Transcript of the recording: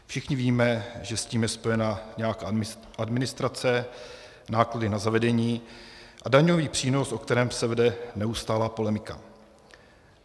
Všichni víme, že s tím je spojena nějaká administrace, náklady na zavedení a daňový přínos, o kterém se vede neustálá polemika.